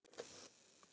Elsku amma Ragga.